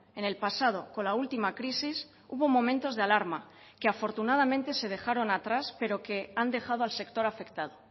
en el pasado con la última crisis hubo momentos de alarma que afortunadamente se dejaron atrás pero que han dejado al sector afectado